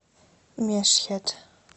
мешхед